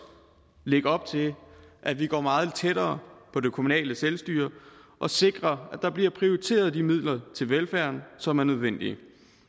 lægge op til at vi går meget tættere på det kommunale selvstyre og sikrer at der bliver prioriteret de midler til velfærden som er nødvendige